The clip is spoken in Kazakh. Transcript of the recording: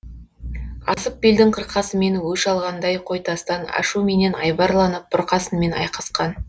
асып белдің қырқасымен өш алғандай қой тастан ашуменен айбарланып бұрқасынмен айқасқан